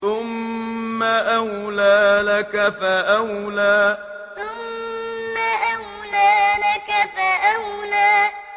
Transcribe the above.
ثُمَّ أَوْلَىٰ لَكَ فَأَوْلَىٰ ثُمَّ أَوْلَىٰ لَكَ فَأَوْلَىٰ